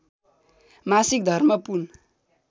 मासिक धर्म पुन